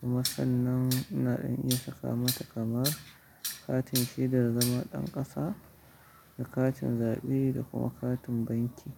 kuma sannan ina ɗan iya saka mata kamar katin shaidar zama ɗan ƙasa da katin zaɓe da kuma katin banki.